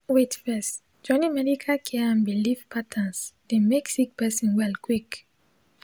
wait first—joining medical care and biliv patterns dey mek sik person well quick